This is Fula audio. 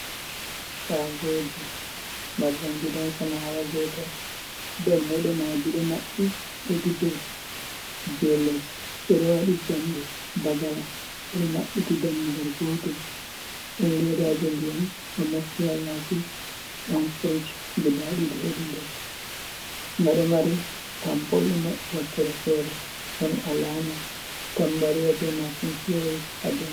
Shagoji mar ɗum gidan samawa gotel dammude maji ɗo maɓɓi hedi dou, je les ɓeɗo waɗi jamɗe bagala ɓe ɗo mabbitiy dammugal, gotel ɗon ledaji ndiyam ɗo mofti ha yasi ɗon frich guda ɗiɗi hedi nder nga ɗo mari tam pol ɗo maɓɓi, wakkere fere ɗon alama tambari wa be mashin pos ha dou.